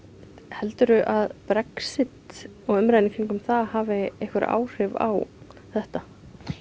heldurðu að Brexit og umræðan í kringum það hafi einhver áhrif á þetta